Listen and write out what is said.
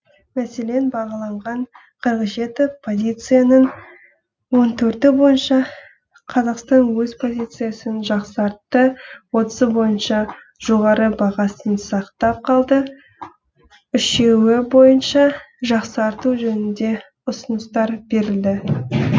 мәселен бағаланған қырық жеті позицияның он төрті бойынша қазақстан өз позициясын жақсартты отызы бойынша жоғары бағасын сақтап қалды үшеуі бойынша жақсарту жөнінде ұсыныстар берілді